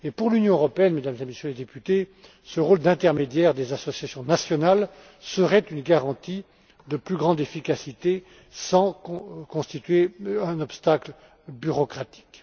Pour l'Union européenne, Mesdames et Messieurs les députés, ce rôle d'intermédiaire des associations nationales serait une garantie d'une plus grande efficacité, sans constituer un obstacle bureaucratique.